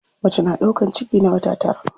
Mace na ɗaukan ciki na wata tara.